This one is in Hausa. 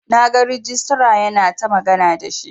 Na gan regista yana ta magana da shi.